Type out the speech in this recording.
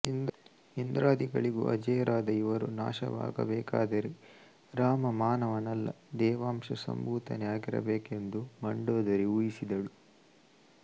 ಇಂದ್ರಾದಿಗಳಿಗೂ ಅಜೇಯರಾದ ಇವರು ನಾಶವಾಗಬೇಕಾದರೆ ರಾಮ ಮಾನವನಲ್ಲ ದೇವಾಂಶ ಸಂಭೂತನೇ ಆಗಿರಬೇಕೆಂದು ಮಂಡೋದರಿ ಊಹಿಸಿದಳು